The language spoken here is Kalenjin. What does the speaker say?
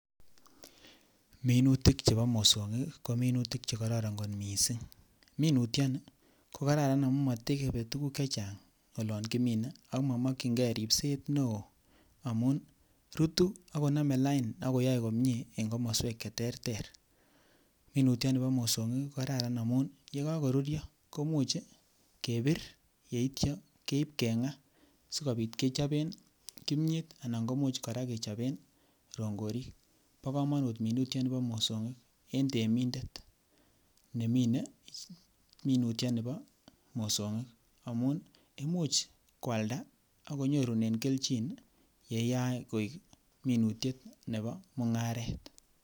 Minutik chebo mosong'ik ko minutik chekororon kot mising, minutioni ko kararan amuun motebee tukuk chechang olon kominee ak momokying'e ribset neoo amuun rutu akonome lain ak koyoe komnyee en komoswek cheterter, minutioni bo mosong'ik ko kararan amuun yoon ko koururyo komuuch kebir yeityo keib keng'aa sikobit kechoben kimnyeet anan kimuuch kechoben rong'orik, bokomonut minutioni bo mosong'ik en temindet neminee minutioni bo mosong'ik amuun imuuch kwalda akonyorunen kelchin neyoe koik minutiet neboo mung'aret.